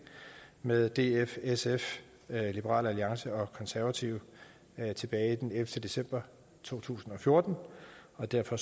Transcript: med df sf liberal alliance og konservative tilbage den ellevte december to tusind og fjorten og derfor